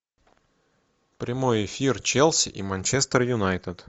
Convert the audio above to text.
прямой эфир челси и манчестер юнайтед